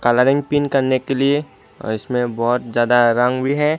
Running पीन करने के लिए इसमें बहुत ज्यादा रंग भी है।